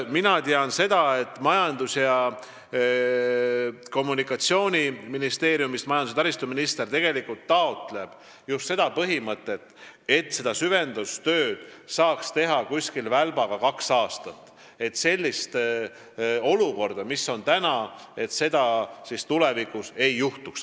Mina tean seda, et majandus- ja taristuminister toetab just seda põhimõtet, et süvendustööd saaks teha umbes kaheaastase välbaga, et sellist olukorda, nagu praegu on, tulevikus ei juhtuks.